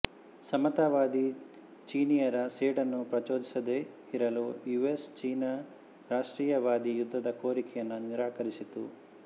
ಸಮತಾವಾದಿ ಚೀನೀಯರ ಸೇಡನ್ನು ಪ್ರಚೋದಿಸದೇ ಇರಲು ಯುಎಸ್ ಚೀನಾ ರಾಷ್ಟ್ರೀಯವಾದಿ ಯುದ್ಧದ ಕೋರಿಕೆಯನ್ನು ನಿರಾಕರಿಸಿತು